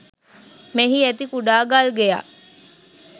මෙහි ඇති කුඩා ගල්ගෙයක්